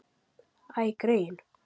Æ, greyin.